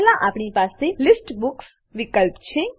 પહેલા આપણી પાસે લિસ્ટ બુક્સ લીસ્ટ બુક્સ વિકલ્પ છે